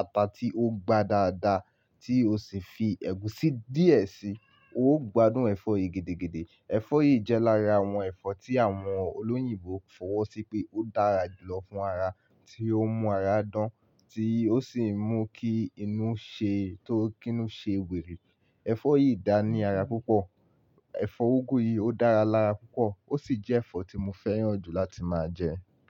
ata tí ó ń gba dáadáa tí o sì fi ẹ̀gúsí díẹ̀ sí i, ó gbádùn ẹ̀fọ́ yìí gidigidi. Ẹ̀fọ́ yìí jẹ́ lára àwọn ẹ̀fọ́ tí àwọn olóyìnbo fọwọ́ sí pé ó dára jù lọ fún ara, tí ó ń mú ara dán, tí ó sì ń mú kí inú ṣe tó kí inú ṣe wèrè. Ẹ̀fọ́ yìí dáa ní ara púpọ̀. Ẹ̀fọ́ úgú yìí ó dára lára púpọ̀, ó sì jẹ́ ẹ̀fọ́ tí mo fẹ́ràn jù láti máa jẹ.